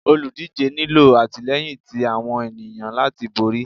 olúdijé nilọ atilẹyín tí awọn eniyan latí borí